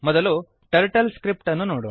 ಮೊದಲು ಟರ್ಟಲ್ಸ್ಕ್ರಿಪ್ಟ್ ಅನ್ನು ನೋಡೋಣ